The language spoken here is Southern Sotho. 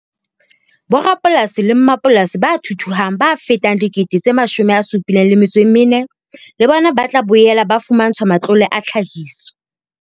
Borapolasi le mmapolasi ba thuthuhang ba fetang 74 000 le bona ba tla boela ba fumantshwa matlole a tlhahiso.